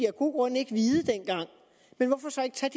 af gode grunde ikke vide dengang men hvorfor så ikke tage